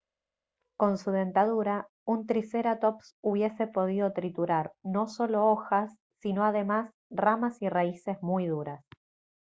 con su dentadura un triceraptops hubiese podido triturar no solo hojas sino además ramas y raíces muy duras